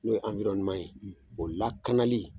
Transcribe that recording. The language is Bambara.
N'o ye anwirɔneman ye o lakanali